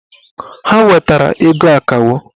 Ha wetara ego akawo